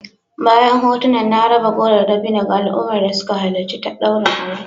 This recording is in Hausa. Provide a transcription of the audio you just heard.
Bayan hotunan a raba goro da dabino ga al'ummar da suka halarci daurin aure